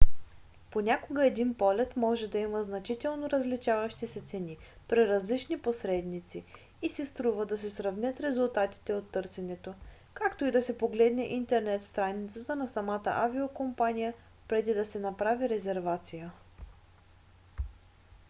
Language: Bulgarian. понякога един полет може да има значително различаващи се цени при различни посредници и си струва да се сравнят резултатите от търсенето както и да се погледне интернет страницата на самата авиокомпания преди да се направи резервация